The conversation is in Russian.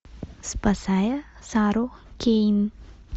спасая сару кейн